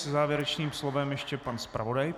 Se závěrečným slovem ještě pan zpravodaj.